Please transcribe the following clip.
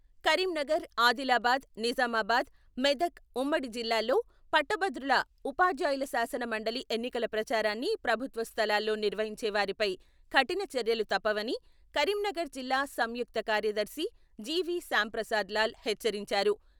కరీంనగర్, ఆదిలాబాద్, నిజామాబాద్, మెదక్ ఉమ్మడి జిల్లాల్లో పట్టభద్రుల, ఉపాధ్యాయుల శాసన మండలి ఎన్నికల ప్రచారాన్ని ప్రభుత్వ స్థలాల్లో నిర్వహించే వారిపై కఠిన చర్యలు తప్పవని కరీంనగర్ జిల్లా సంయుక్త కార్యదర్శి జివి.శ్యాంప్రసాద్ లాల్ హెచ్చరించారు.